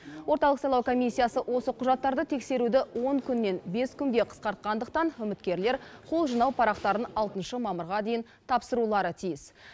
орталық сайлау комиссиясы осы құжаттарды тексеруді он күннен бес күнге қысқартқандықтан үміткерлер қол жинау парақтарын алтыншы мамырға дейін тапсырулары тиіс